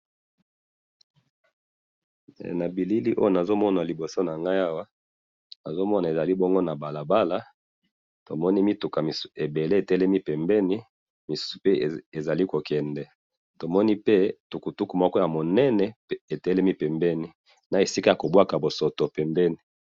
na bilili oyo nazali komona na iboso nangayi awa nazo mona ezali na balabala awa tomoni mituka ebele etelemi pembeni na misusu pe ezali ko kende tomoni pe tukutuku munene etelemi pembeni na esika pe yako bwakaka losoto pembeni